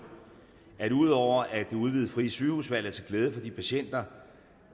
at ud over at det udvidede frie sygehusvalg er til glæde for de patienter